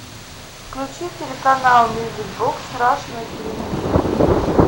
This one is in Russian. включи телеканал мьюзик бокс раша на телевизоре